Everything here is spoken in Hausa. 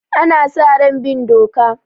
Ana sa ran bin doka.